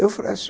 Eu